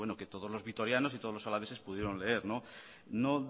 que todos los vitorianos y todos los alaveses pudieron leer no